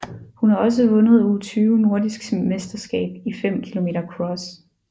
Hun har også vundet U20 nordisk mesterskab i 5 km cross